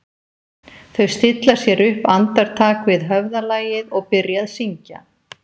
Þau stilla sér upp andartak við höfðalagið og byrja að syngja